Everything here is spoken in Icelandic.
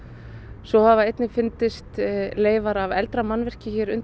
svo hafa einnig fundist leifar af eldra mannvirki hér undir